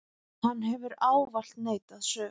Hann hefur ávallt neitað sök.